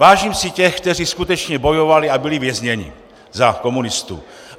Vážím si těch, kteří skutečně bojovali a byli vězněni za komunistů.